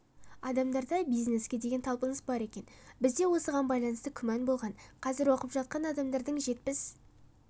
адамдарда бизнеске деген талпыныс бар екен бізде осыған байланысты күмән болған қазір оқып жатқан адамдардың жетпіс